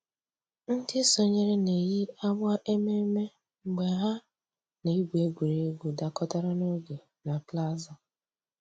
Ǹdí sọǹyèrè nà-èyi àgbà emèmé́ mgbè hà nà-ègwù ègwè́ré́gwụ̀ dàkọ̀tàrà n'ògè nà plaza.